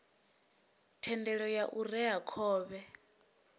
thendelo ya u rea khovhe